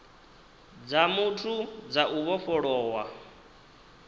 dza muthu dza u vhofholowa